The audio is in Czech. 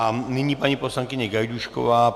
A nyní paní poslankyně Gajdůšková.